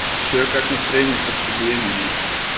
че как настроение сердцебиение